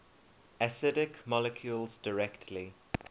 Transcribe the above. acidic molecules directly